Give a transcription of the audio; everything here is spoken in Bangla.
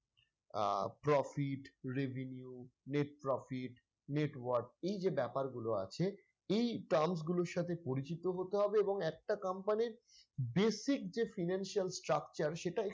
আহ profit, revenue, net profit, net work এই যে ব্যপারগুলো আছে এই terms গুলোর সাথে পরিচিত হতে হবে এবং একটা company র basic যে financial structure সেটা